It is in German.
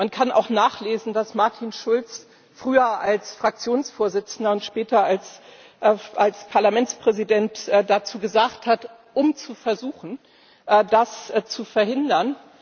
Man kann auch nachlesen, was Martin Schulz früher als Fraktionsvorsitzender und später als Parlamentspräsident dazu gesagt hat, um zu versuchen, das zu verhindern.